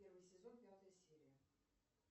первый сезон пятая серия